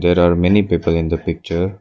There are many people in the picture.